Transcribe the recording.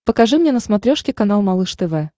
покажи мне на смотрешке канал малыш тв